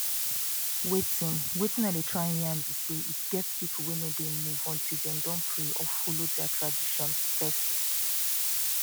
wetin wetin i dey try yarn be say e get people wey no dey move until dem don pray or follow their tradition first.